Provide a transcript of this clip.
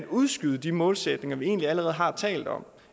udskyde de målsætninger vi egentlig allerede har talt om